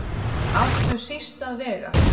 áttu síst að vega